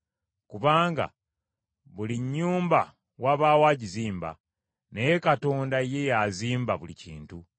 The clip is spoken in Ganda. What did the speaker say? Kubanga buli nnyumba wabaawo agizimba, naye Katonda ye y’azimba buli kintu.